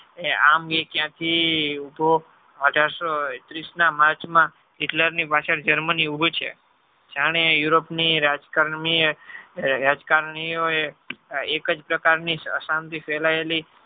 આમ એ ક્યાં થી ઉભો અઢારસો ત્રીસ ના march માં Hitler ની પાછળ Germany ઉભુ છે જાણે europe ની રાજકારણી યો એ એકજ પ્રકાર ની ફેલાયેલી છે.